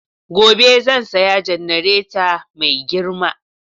Gobe zan saya jannareta mai girma.